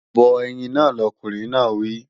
Bọ ẹyin náà, lọkùnrin náà wí!